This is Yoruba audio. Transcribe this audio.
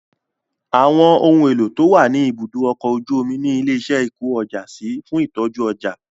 Àwọn ohun èlò to wà ní ibùdó ọkọ̀ ojú omi ni ilé iṣẹ́ ìkó ọjà sí fún ìtọ́jú ọjà